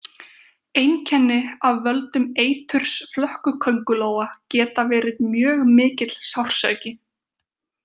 Einkenni af völdum eiturs flökkuköngulóa geta verið mjög mikill sársauki.